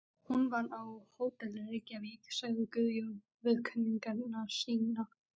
Hún vann á Hótel Reykjavík, sagði Guðjón við kunningja sína.